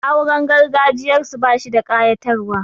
Auren gargajiyarsu bashi da ƙayatarwa.